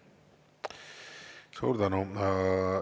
Suur tänu!